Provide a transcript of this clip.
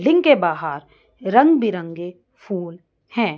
Building के बाहर रंग बिरंगे फूल है।